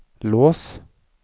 lås